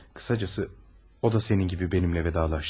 Kısacası o da senin gibi benimle vedalaştı.